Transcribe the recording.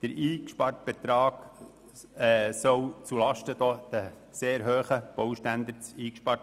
Der eingesparte Betrag soll zulasten der sehr hohen Baustandards gehen.